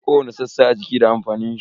Kowani sassa a jiki da amfanin shi.